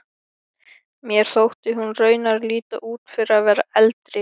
Mér þótti hún raunar líta út fyrir að vera eldri.